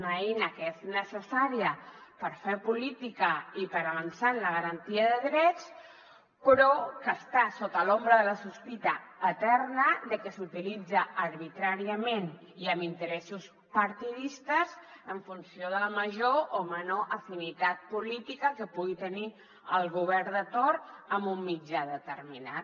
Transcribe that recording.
una eina que és necessària per fer política i per avançar en la garantia de drets però que està sota l’ombra de la sospita eterna de que s’utilitza arbitràriament i amb interessos partidistes en funció de la major o menor afinitat política que pugui tenir el govern de torn amb un mitjà determinat